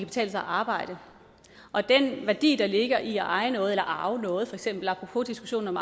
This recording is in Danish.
betale sig at arbejde og den værdi der ligger i at eje noget eller arve noget apropos diskussionen om